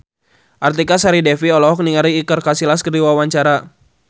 Artika Sari Devi olohok ningali Iker Casillas keur diwawancara